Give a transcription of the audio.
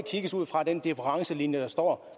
ses ud fra den differencelinje der står